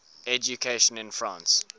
education in france